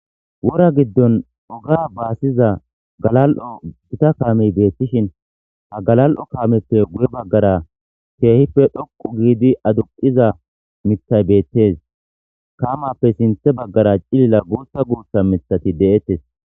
wora giddon oga baasiza galal'o gita kaamey beettishin ha galal7o kaameppe guye baggara keehipfe dhoqu giidi aduqiza mithay beettes kamappe sinthe baggara cilila guutha guussa mithati de7ettes